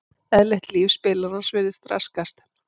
Eðlilegt líf spilarans virðist raskast.